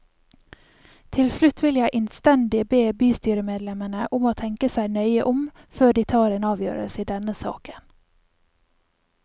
Til slutt vil jeg innstendig be bystyremedlemmene om å tenke seg nøye om før de tar en avgjørelse i denne saken.